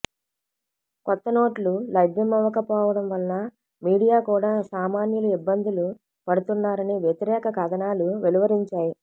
కొత్త నోట్లు లభ్యమవకపోవడం వలనమీడియా కూడా సామాన్యులు ఇబ్బందులు పడుతున్నారని వ్యతిరేక కథనాలు వెలువరించాయి